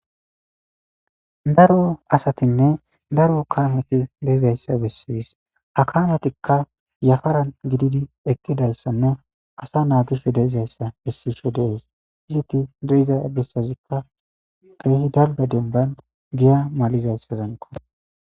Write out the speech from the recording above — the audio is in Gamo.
Daro asatinne daro kaameti leezayssa bessiis akametikka yafaran gididi ekkidalssanne asa naagisho deezayssa bessisho deees iziti diiza ebbissazikka keehi dalga denban giya malizayssazanqo.